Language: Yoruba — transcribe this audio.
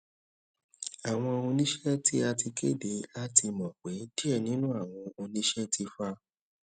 awọn oniṣẹ ti a ti kede a ti mọ pe diẹ ninu awọn oniṣẹ ti fa